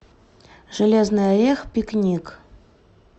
железный орех пикник